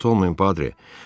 Narahat olmayın, Padri.